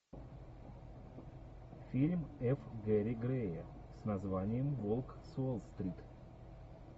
фильм ф гэри грея с названием волк с уолл стрит